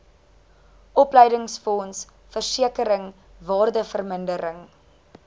opleidingsfonds versekering waardevermindering